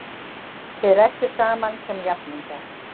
Þið rædduð saman sem jafningjar!